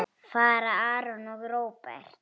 Fara Aron og Róbert?